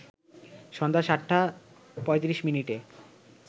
সন্ধ্যা ৭টা ৩৫ মিনিটে